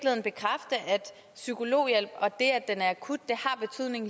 psykologhjælp og det at den er akut